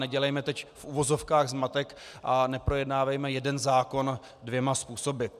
Nedělejme teď v uvozovkách zmatek a neprojednávejme jeden zákon dvěma způsoby.